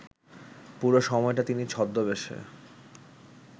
পুরো সময়টা তিনি ছদ্মবেশে